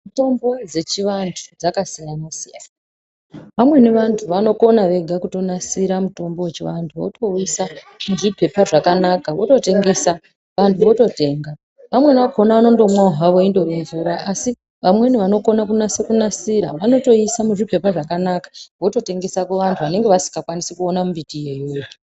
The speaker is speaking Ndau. Mitombo dzechivantu dzakasiyana-siyana, amweni vantu vanokona vega kutonasira mutombo wechiantu votowuyisa muzvipepa zvakanaka, vototengesa, vantu vototenga. Vamweni vakona vanondomwa havo indori mvura, asi vamweni vanokona ,kunasa kunasira, vanotoyiisa muzvipepa zvakanaka, vototengesa kuvantu vanenge vasingakwanisi kuwana mimbutiyo iyoyo.